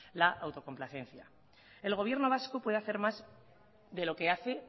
la autocomplacencia el gobierno vasco puede hacer más de lo que hace